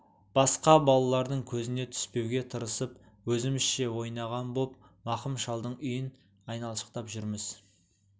басқа балалардың көзіне түспеуге тырысып өзімізше ойнаған боп мақым шалдың үйін айналшықтап жүрміз